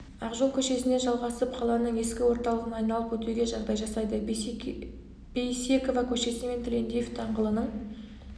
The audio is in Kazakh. ақжол көшесіне жалғасып қаланың ескі орталығын айналып өтуге жағдай жасайды бейсекова көшесі мен тілендиев даңғылының